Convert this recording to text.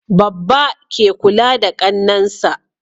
Babba ke kula da Kannan sa